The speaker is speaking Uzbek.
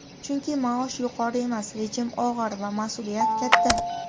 Chunki maosh yuqori emas, rejim og‘ir va mas’uliyat katta.